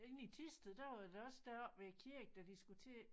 Inde i Thisted der var der også deroppe ved æ kirke da de skulle til